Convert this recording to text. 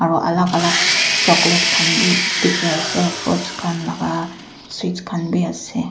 aro lag alga chocolate khan bhi dekhi ase fruit khan laga sweet khan bhi ase.